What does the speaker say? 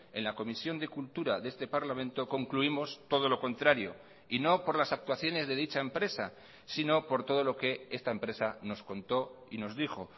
en la comisión de cultura de este parlamento concluimos todo lo contrario y no por las actuaciones de dicha empresa sino por todo lo que esta empresa nos contó y nos dijo